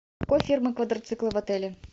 какой фирмы квадроциклы в отеле